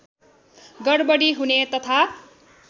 गडबडी हुने तथा